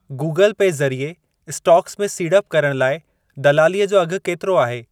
Google Pay ज़रिए stocks में सीड़प करण लाइ दलालीअ जो अघि केतिरो आहे?